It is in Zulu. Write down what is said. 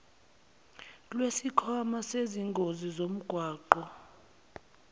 lwesikhwama sezingozi zomgwaqo